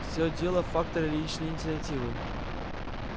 все дело в факторе личной инициативы